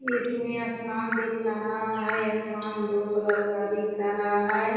इसमें आसमान दिख रहा है आसमान ब्लू कलर का दिख रहा है ।